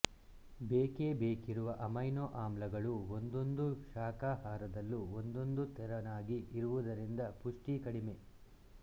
ಬೇಕೇ ಬೇಕಿರುವ ಅಮೈನೋ ಆಮ್ಲಗಳು ಒಂದೊಂದು ಶಾಖಾಹಾರದಲ್ಲೂ ಒಂದೊಂದು ತೆರನಾಗಿ ಇರುವುದರಿಂದ ಪುಷ್ಟಿ ಕಡಿಮೆ